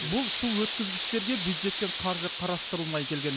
бұл су өткізгіштерге бюджеттен қаржы қарастырылмай келген